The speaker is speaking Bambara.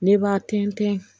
Ne b'a tɛntɛn